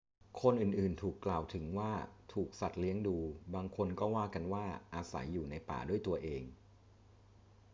คนอื่น ๆ ถูกกล่าวถึงว่าถูกสัตว์เลี้ยงดู บางคนก็ว่ากันว่าอาศัยอยู่ในป่าด้วยตัวเอง